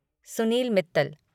Sunil Mittal